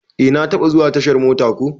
Eh na taba zuwa tashar mota ko.